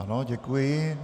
Ano, děkuji.